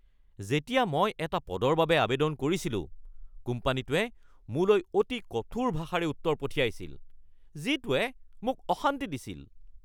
যেতিয়া মই এটা পদৰ বাবে আৱেদন কৰিছিলোঁ, কোম্পানীটোৱে মোলৈ অতি কঠোৰ ভাষাৰে উত্তৰ পঠিয়াইছিল যিটোৱে মোক অশান্তি দিছিল